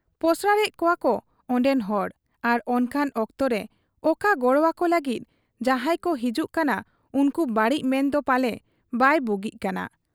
ᱯᱚᱥᱲᱟᱭᱮᱫ ᱠᱚᱣᱟᱠᱚ ᱚᱱᱰᱮᱱ ᱦᱚᱲ ᱟᱨ ᱚᱱᱠᱟᱱ ᱚᱠᱛᱚᱨᱮ ᱚᱠᱟ ᱜᱚᱲᱚᱣᱟᱠᱚ ᱞᱟᱹᱜᱤᱫ ᱡᱟᱦᱟᱸᱭᱠᱚ ᱦᱤᱡᱩᱜ ᱠᱟᱱᱟ ᱩᱱᱠᱩ ᱵᱟᱹᱲᱤᱡ ᱢᱮᱱᱫᱚ ᱯᱟᱞᱮ ᱵᱟᱭ ᱵᱩᱜᱤᱜ ᱠᱟᱱᱟ ᱾